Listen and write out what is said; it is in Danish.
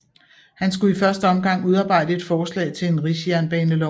Han skulle i første omgang udarbejde et forslag til en rigsjernbanelov